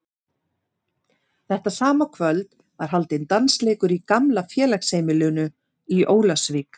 Þetta sama kvöld var haldinn dansleikur í gamla félagsheimilinu í Ólafsvík.